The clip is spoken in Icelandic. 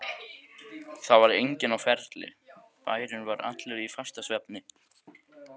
Það var enginn á ferli, bærinn var allur í fastasvefni.